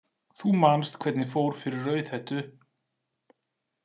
Þú manst hvernig fór fyrir Rauðhettu.